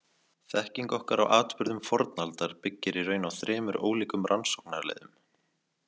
Þekking okkar á atburðum fornaldar byggir í raun á þremur ólíkum rannsóknarleiðum.